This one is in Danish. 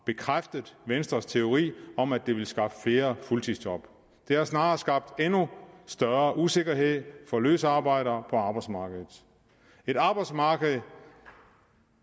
bekræftet venstres teori om at det ville skaffe flere fuldtidsjob det har snarere skabt endnu større usikkerhed for løsarbejdere på arbejdsmarkedet et arbejdsmarked